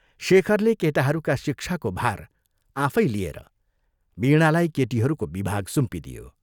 शेखरले केटाहरूका शिक्षाको भार आफै लिएर वीणालाई केटीहरूको विभाग सुम्पिदियो।